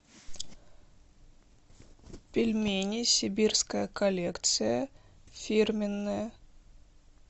пельмени сибирская коллекция фирменная